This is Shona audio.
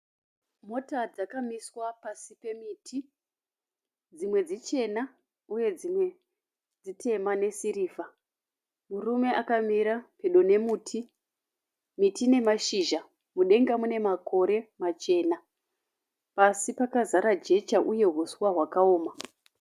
Mota dzakamiswa pasi pemiti. Dzimwe dzichena uye dzimwe dzitema nesirivha. Murume akamira pedo nemuti. Miti ine mashizha. Mudenga mune makore machena. Pasi pakazara jecha uye huswa hwakaoma.